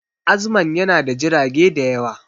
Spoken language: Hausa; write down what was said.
Azman yana da jirage da yawa